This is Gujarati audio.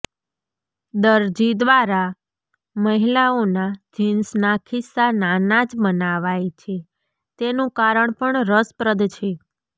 દરજી દ્વારા મહિલાઓના જીન્સના ખીસ્સા નાના જ બનાવાય છે તેનું કારણ પણ રસપ્રદ છે